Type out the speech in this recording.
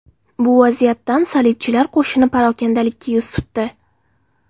Bu vaziyatdan salibchilar qo‘shini parokandalikka yuz tutdi.